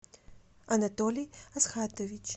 анатолий асхатович